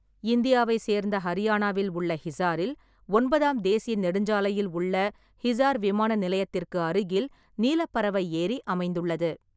இந்தியாவை சேர்ந்த ஹரியானாவில் உள்ள ஹிசாரில் ஒன்பதாம் தேசிய நெடுஞ்சாலையில் உள்ள ஹிசார் விமான நிலையத்திற்கு அருகில் நீலப் பறவை ஏரி அமைந்துள்ளது.